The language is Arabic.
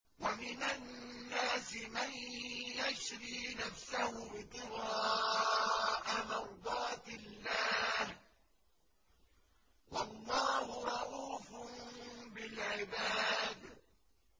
وَمِنَ النَّاسِ مَن يَشْرِي نَفْسَهُ ابْتِغَاءَ مَرْضَاتِ اللَّهِ ۗ وَاللَّهُ رَءُوفٌ بِالْعِبَادِ